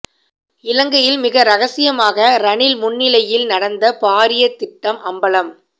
இலங்கையில் மிக இரகசியமாக ரணில் முன்னிலையில் நடந்த பாரிய திட்டம் அம்பலம்